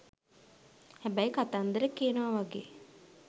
හැබැයි කතන්දර කියනවා වගේ